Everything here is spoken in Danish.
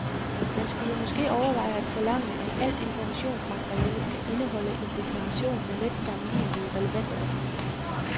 Man skulle måske overveje at forlange, at alt informationsmateriale skal indeholde en deklaration med let sammenlignelige relevante oplysninger.